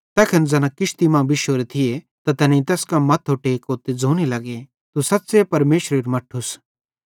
तैखन ज़ैना किश्ती मां बिश्शोरे थिये त तैनेईं तैस कां मथ्थो टेको ते ज़ोने लग्गे तू सच़्च़े परमेशरेरू मट्ठूस